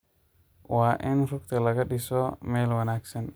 Waa in rugta laga dhiso meel wanaagsan.